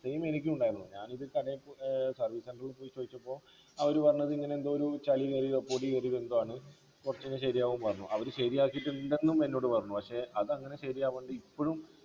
same എനിക്കും ഉണ്ടായിരുന്നു ഞാനിത് കടയിൽ പോയി ഏർ service center ൽ പോയി ചോയ്ച്ചപ്പോ അവര് പറഞ്ഞത് ഇങ്ങനെ എന്തോ ഒരു ചളി കേറിയതോ പൊടി കേറിയതോ എന്തോ ആണ് കൊറച്ചു കഴിഞ്ഞാ ശരിയാവും പറഞ്ഞു അവര് ശരിയാക്കിട്ടുണ്ടെന്നും എന്നോട് പറഞ്ഞു പക്ഷെ അതങ്ങനെ ശരിയാവാണ്ട് ഇപ്പോഴും